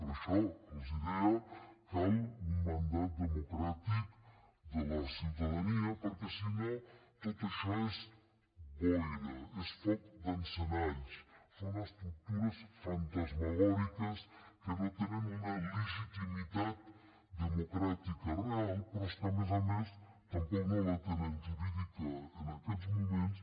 per això els deia cal un mandat democràtic de la ciutadania perquè si no tot això és boira és foc d’encenalls són estructures fantasmagòriques que no tenen una legitimitat democràtica real però és que a més a més tampoc no la tenen jurídica en aquests moments